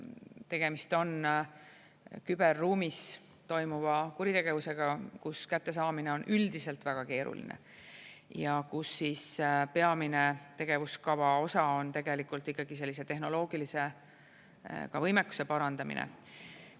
Tegemist on küberruumis toimuva kuritegevusega, kus kättesaamine on üldiselt väga keeruline, ja kus peamine tegevuskava osa on tegelikult ikkagi sellise tehnoloogilise võimekuse parandamine.